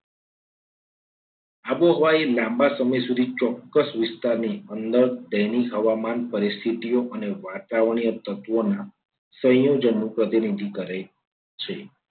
આબોહવા એ લાંબા સમય સુધી ચોક્કસ વિસ્તારની અંદર તેની હવામાન પરિસ્થિતિઓ અને વાતાવરણીય તત્વોના સંયોજનોનું પ્રતિનિધિત્વ કરે છે.